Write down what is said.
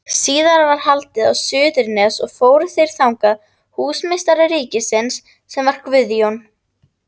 Síðar var haldið á Suðurnes og fóru þeir þangað, húsameistari ríkisins, sem þá var Guðjón